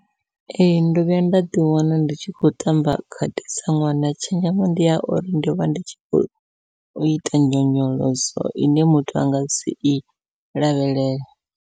Ee ndo vhuya nda ḓi wana ndi tshi khou tamba khadi sa ṅwana, tshenzhemo ndi ya uri ndi vha ndi tshi khou ita nyonyoloso ine muthu anga si i lavhelele.